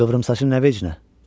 Qıvrımsaçın nə vecinə?